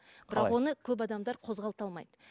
бірақ оны көп адамдар қозғалта алмайды